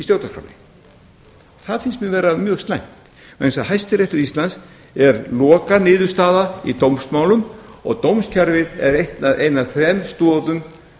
stjórnarskránni það finnst mér vera mjög slæmt vegna þess að hæstiréttur íslands er lokaniðurstaða í dómsmálum og dómskerfið er ein af þrem stoðum